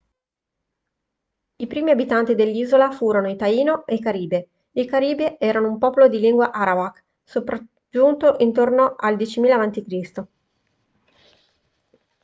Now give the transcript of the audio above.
i primi abitanti dell'isola furono i taino e i caribe i caribe erano un popolo di lingua arawak sopraggiunto intorno al 10000 a.c